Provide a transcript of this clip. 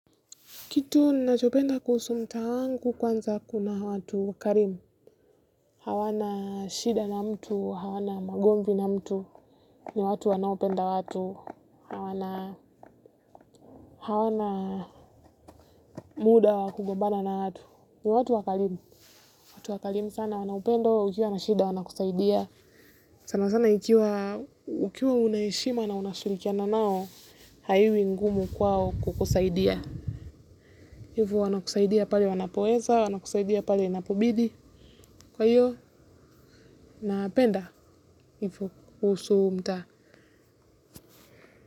Kitu ninachopenda kuhusu mta wangu kwanza kuna watu karimu. Hawana shida na mtu, hawana magomnvi na mtu. Ni watu wanaopenda watu. Hawana muda wa kugombana na watu. Ni watu wakarimu. Watu wakarimu sana wanaupendo, ukiwa wana shida wana kusaidia. Sana sana ikiwa ukiwa unahishima na unashurikiana nao, haiwi ngumu kwao kukusaidia. Hivu wana kusaidia pale wanapoeza, wana kusaidia pale inapobidi. Kwa hiyo, naapenda, hivyo kusu mta.